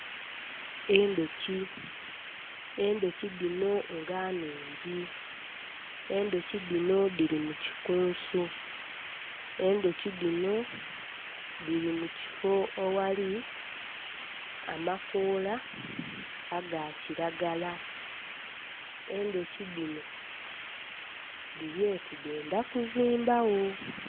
Endhuki, endhuki dino nga nnhingi. Endhuki dino dhili mu kikunsu, endhuki dino dhili mu kifo oghali amakoola aga kilagala. Endhuki dino dhili oti dhendha kuzimba gho.